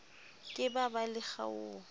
ke ba ba le kgaoho